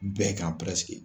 Bɛɛ kan